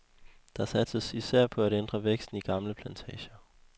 Der satses især på at ændre væksten i gamle plantager.